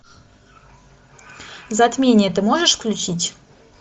затмение ты можешь включить